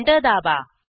enter दाबा